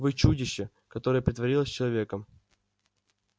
вы чудище которое притворилось человеком